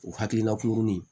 O hakilina kurunin